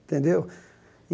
Entendeu?